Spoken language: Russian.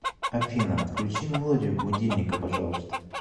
афина отключи мелодию будильника пожалуйста